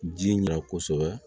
Ji ɲa kosɛbɛ